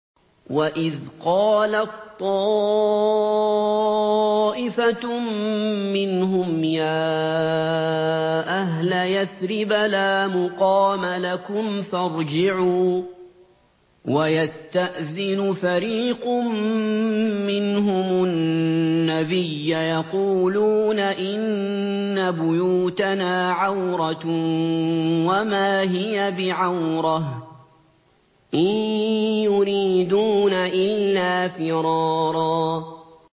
وَإِذْ قَالَت طَّائِفَةٌ مِّنْهُمْ يَا أَهْلَ يَثْرِبَ لَا مُقَامَ لَكُمْ فَارْجِعُوا ۚ وَيَسْتَأْذِنُ فَرِيقٌ مِّنْهُمُ النَّبِيَّ يَقُولُونَ إِنَّ بُيُوتَنَا عَوْرَةٌ وَمَا هِيَ بِعَوْرَةٍ ۖ إِن يُرِيدُونَ إِلَّا فِرَارًا